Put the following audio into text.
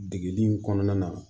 Degeli kɔnɔna na